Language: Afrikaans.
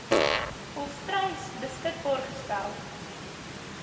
volstruis beskikbaar gestel